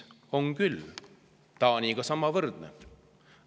On küll, Taani omaga võrdne.